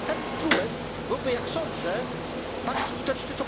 Ten instrument byłoby, jak sądzę, bardziej skuteczny.